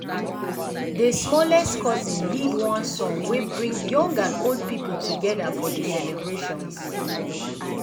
dey smallest cousin lead one song wey bring young and old people together for for dey celebrations.